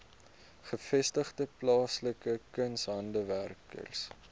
gevestigde plaaslike kunshandwerkers